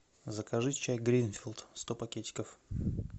закажи чай гринфилд сто пакетиков